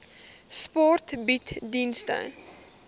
sport bied dienste